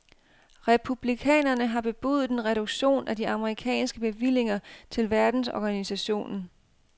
Republikanerne har bebudet en reduktion af de amerikanske bevillinger til verdensorganisationen.